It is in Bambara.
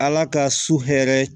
Ala ka su hɛrɛ